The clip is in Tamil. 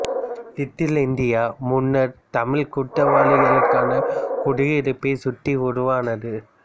லிட்டில் இந்தியா முன்னர் தமிழ் குற்றவாளிகளுக்கான குடியிருப்பைச் சுற்றி உருவானது